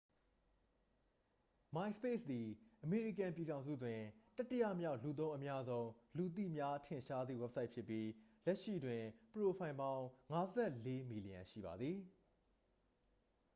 myspace သည် အမေရိကန်ပြည်ထောင်စုတွင် တတိယမြောက် လူသုံးအများဆုံး လူသိများထင်ရှားသည့်ဝဘ်ဆိုက်ဖြစ်ပြီး လက်ရှိတွင် ပရိုဖိုင်ပေါင်း 54 မီလီယံရှိပါသည်